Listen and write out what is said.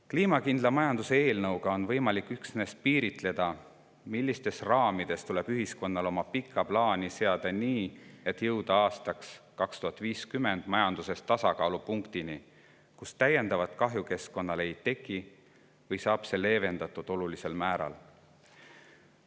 Kliimakindla majanduse eelnõuga on võimalik üksnes piiritleda, millistes raamides tuleb ühiskonnal oma pikka plaani seada nii, et aastaks 2050 jõuda majanduses tasakaalupunktini, kus täiendavat kahju keskkonnale ei teki või, siis leevendatakse seda olulisel määral.